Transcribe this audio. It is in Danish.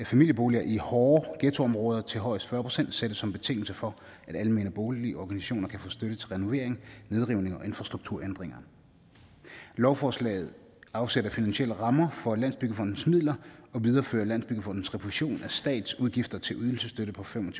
familieboliger i hårde ghettoområder til højst fyrre procent sættes som betingelse for at almene boligorganisationer kan få støtte til renovering nedrivning og infrastrukturændringer lovforslaget afsætter finansielle rammer for landsbyggefondens midler og viderefører landsbyggefondens refusion af statsudgifter til ydelsesstøtte på fem og